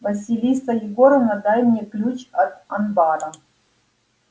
василиса егоровна дай мне ключ от анбара